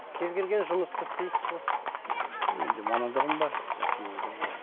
кез келген жұмысты істейсіз ғой енді мамандығым бар жақсы мамандығым бар